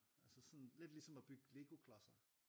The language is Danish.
Altså sådan lidt ligesom at bygge Lego klodser